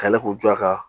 Ka yɛlɛ k'u jɔ a kan